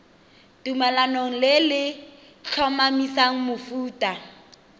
tumalanong le le tlhomamisang mofuta